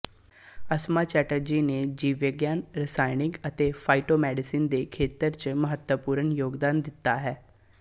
ਅਸਮਾ ਚੈਟਰਜੀ ਨੇ ਜੀਵ ਵਿਗਿਆਨ ਰਸਾਇਣ ਅਤੇ ਫਾਇਟੋਮੈਡੀਸਨ ਦੇ ਖੇਤਰ ਚ ਮਹੱਤਵਪੂਰਨ ਯੋਗਦਾਨ ਦਿਤਾ ਹੈ